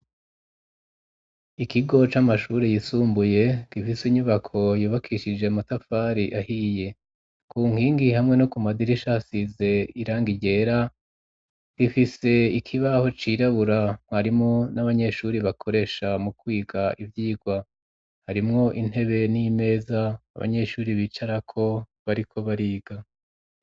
Ikigo c'amashuri yisumbuye gifise inyubako yobakishije amatafari ahiye ku nkingi hamwe no ku madirishasize irangi ryera gifise ikibaho cirabura mwarimu n'abanyeshuri bakoresha mu kwiga ivyigwa harimwo intebe n'imeza abanyeshuri bicara ko bariko bariga.